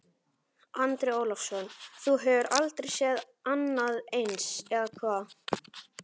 Andri Ólafsson: Þú hefur aldrei séð annað eins, eða hvað?